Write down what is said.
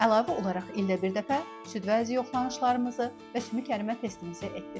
Əlavə olaraq ildə bir dəfə süd vəzi yoxlanışlarımızı və sümük ərimə testimizi etdiririk.